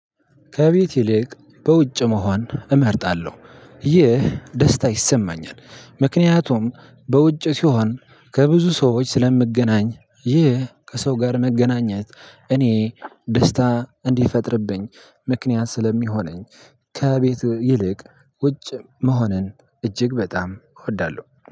ከቤት ይልቅ በውጭ መሆን እመርጣለሁ። ይህ ደስታ ይሰማኛል ምክንያቱም በውጭ ሲሆን ከብዙ ሰዎች ስለምገናኝ ይህ ከሰው ጋር መገናኘት እኔ ደስታ እንዲፈጥርብኝ ምክንያት ስለሚሆነኝ። ከቤት ይልቅ ውጭ መሆንን እጅግ በጣም እወዳለሁ።